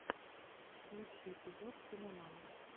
лучший эпизод киноман